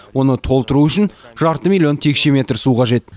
оны толтыру үшін жарты миллион текше метр су қажет